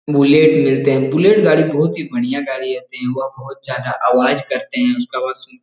Bulleit मिलते हैं bullet गाड़ी बहुत ही बढ़िया गाड़ी रहते हैं वो बहुत ज्यादा आवाज़ करते हैं उसका आवाज़ सुन --